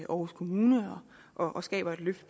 aarhus kommune og skaber et løft